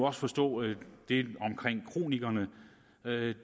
også forstå at det omkring kronikerne